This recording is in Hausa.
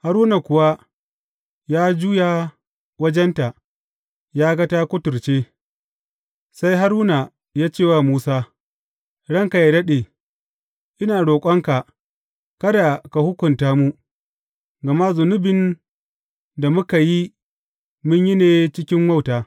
Haruna kuwa ya juya wajenta ya ga ta kuturce; sai Haruna ya ce wa Musa, Ranka yă daɗe, ina roƙonka kada ka hukunta mu, gama zunubin da muka yi, mun yi ne cikin wauta.